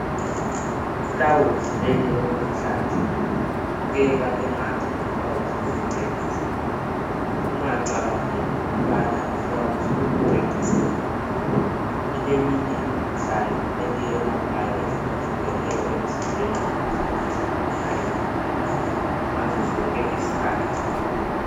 Liflawuzi leli eliluhlaza libukeka engathi liflawuzi lokucecisa ungacabangeli ukubana liflawuzi lokucecisa nje kuphela kuleminye imikhuhlane eliyiyelaphayo emzimbeni ukuze umzimba uhlale uvikelekile ngazo zonke izikhathi